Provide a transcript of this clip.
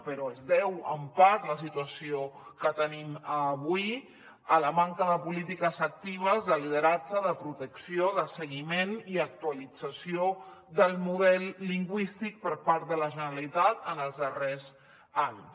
però es deu en part la situació que tenim avui a la manca de polítiques actives de lideratge de protecció de seguiment i actualització del model lingüístic per part de la generalitat en els darrers anys